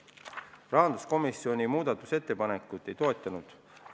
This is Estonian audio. Rahanduskomisjon muudatusettepanekut ei toetanud.